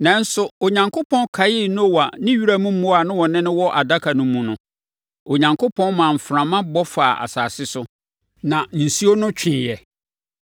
Nanso, Onyankopɔn kaee Noa ne wiram mmoa a na wɔne no wɔ adaka no mu no. Onyankopɔn maa mframa bɔ faa asase so, na nsuo no tweeɛ.